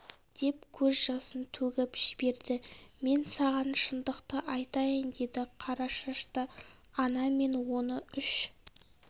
деп көз жасын төгіп жіберді мен саған шындықты айтайын деді қара шашты ана мен оны үш